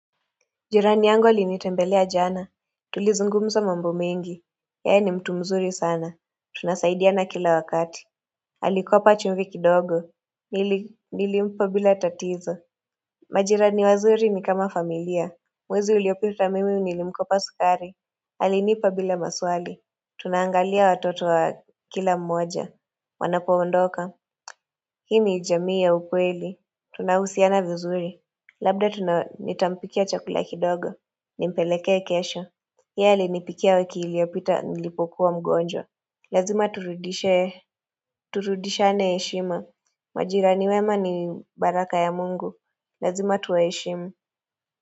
Jirani yangu alinitembelea jana Tulizungumza mambo mengi yeye ni mtu mzuri sana Tunasaidiana kila wakati alikopa chumvi kidogo Nilimpa bila tatizo majirani wazuri ni kama familia Mwezi uliopita mimi nilimkopa sukari alinipa bila maswali Tunaangalia watoto wa kila mmoja Wanapoondoka Hii ni jamii ya ukweli Tunahusiana vizuri Labda nitampikia chakula kidogo Nimpeleke kesho Yeye alinipikia wiki iliopita nilipokuwa mgonja Lazima turudishe Turudishane heshima Majira wema ni baraka ya mungu Lazima tuwa heshimu.